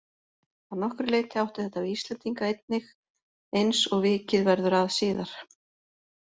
Að nokkru leyti átti þetta við Íslendinga einnig eins og vikið verður að síðar.